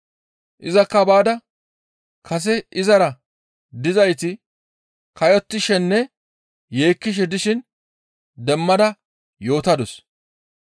Izakka baada kase izara dizayti kayottishenne yeekkishe dishin demmada yootadus.